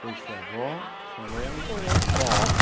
Foi sua avó, sua mãe, seu irmão também.oi nós quatro.